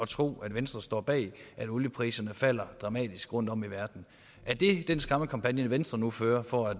tro at venstre står bag at oliepriserne falder dramatisk rundtom i verden er det en skræmmekampagne venstre nu fører for at